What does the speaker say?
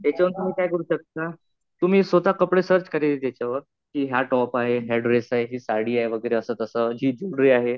याच्यावरून तुम्ही काय करू शकता, तुम्ही स्वतः कपडे सर्च करायचे त्याच्यावर कि हा टॉप आहे. हा ड्रेस आहे. ही साडी आहे वगैरे असं तसं. जी ज्वेलरी आहे.